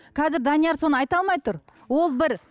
қазір данияр соны айта алмай тұр ол бір